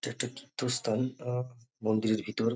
এটা একটা তীর্থস্থান মন্দিরের ভিতর --